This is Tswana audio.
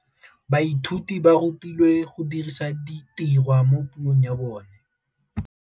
Baithuti ba rutilwe go dirisa tirwa mo puong ya bone.